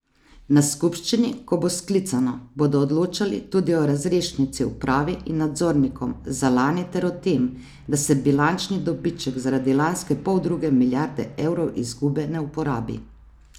Na skupščini, ko bo sklicana, bodo odločali tudi o razrešnici upravi in nadzornikom za lani ter o tem, da se bilančni dobiček zaradi lanske poldruge milijarde evrov izgube ne uporabi.